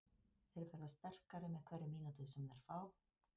Þeir verða sterkari með hverri mínútu sem þeir fá.